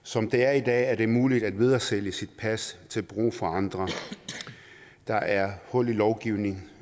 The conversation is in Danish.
som det er i dag er det muligt at videresælge sit pas til brug for andre der er et hul i lovgivningen